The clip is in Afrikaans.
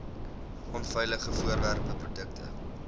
onveilige voorwerpe produkte